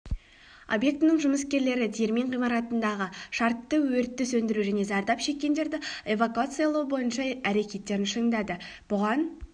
объектінің жұмыскерлері диірмен ғимаратындағы шартты өртті сөндіру және зардап шеккендерді эвакуациялау бойынша әрекеттерін шыңдады бұған